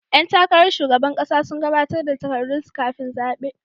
Yan takarar shugaban kasa sun gabatar da takardunsu kafin zabe.